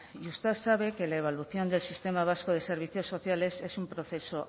y usted sabe que la evolución del sistema vasco de servicios sociales es un proceso